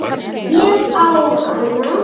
Ég á hana!